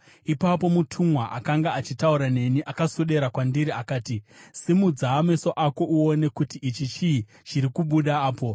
Ipapo mutumwa akanga achitaura neni akaswedera kwandiri akati, “Simudza meso ako uone kuti ichi chii chiri kubuda apo.”